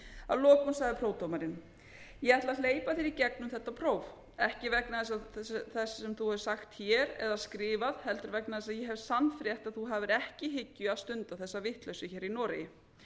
lokum sagði prófdómarinn ég ætla að hleypa þér í gegn um þetta próf ekki vegna þess sem þú hefur sagt eða skrifað heldur vegna þess að ég hef sannfrétt að þú hafir ekki í hyggju að stunda þessa vitleysu hér í noregi